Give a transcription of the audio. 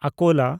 ᱟᱠᱳᱞᱟ